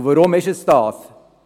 Und warum ist es das? –